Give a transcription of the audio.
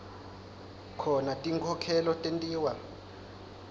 khona tinkhokhelo tentiwa